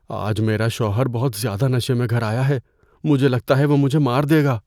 آج میرا شوہر بہت زیادہ نشے میں گھر آیا ہے۔ مجھے لگتا ہے وہ مجھے مار دے گا۔